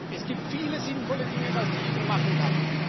Es gibt viele sinnvolle Dinge, die die EU machen kann.